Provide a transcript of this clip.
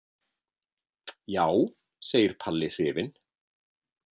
Já, segir Palli hrifinn.